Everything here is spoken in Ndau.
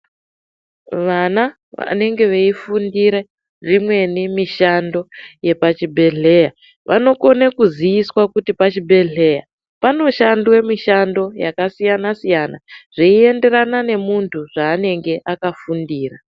Vana vanenge veifundira imweni mishando yepachibhedhleya vanokona kuziiswa kuti pachibhedhleya panoshandwe mushando yakasiyana siyana zvichienderana nemuntu zvaanenge akafundira.